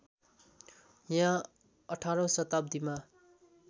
यहाँ अठारौँ शताब्दीमा